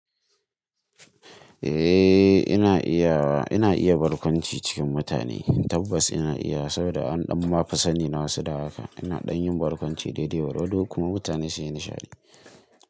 Eh ina iya wa, ina iya barkwanci cikin mutane, tabbas ina iyawa saboda an ɗan mafi sani na wasu da haka. Ina ɗan yin barkwanci daidai gwargwado kuma mutane suyi nishadi.